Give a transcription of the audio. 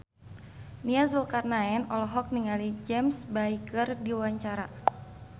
Nia Zulkarnaen olohok ningali James Bay keur diwawancara